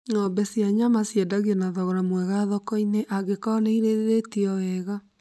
Ng'ombe cia nyama ciendagio na thogora mwega thoko-inĩ angĩkorwo nĩirĩithĩtio wega